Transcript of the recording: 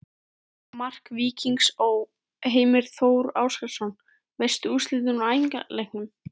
Mark Víkings Ó.: Heimir Þór Ásgeirsson Veistu úrslit úr æfingaleikjum?